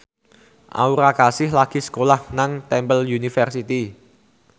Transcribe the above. Aura Kasih lagi sekolah nang Temple University